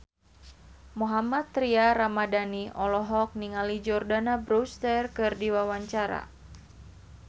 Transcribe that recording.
Mohammad Tria Ramadhani olohok ningali Jordana Brewster keur diwawancara